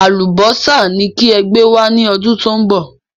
Àlùbọ́sà ni kí ẹ gbé wá ní ọdún tó ń bọ̀